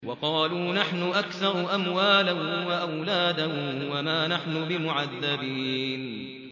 وَقَالُوا نَحْنُ أَكْثَرُ أَمْوَالًا وَأَوْلَادًا وَمَا نَحْنُ بِمُعَذَّبِينَ